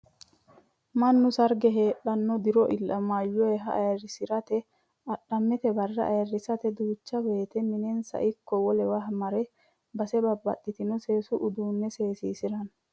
Mannu sarge heedhuro diro illamoyiha ayiirisirate adhammete barra ayiirisirate duucha woyiite minensa ikko wolewa mare base babbaxino seesu uduunnini seesisiranno.